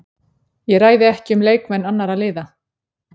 Ég ræði ekki um leikmenn annarra liða.